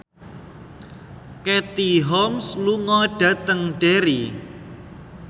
Katie Holmes lunga dhateng Derry